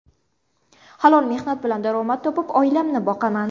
Halol mehnat bilan daromad topib, oilamni boqaman.